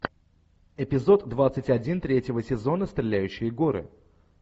эпизод двадцать один третьего сезона стреляющие горы